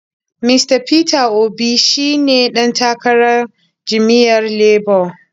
Mista Peter Obi shi ne ɗan takarar jam’iyyar Labo.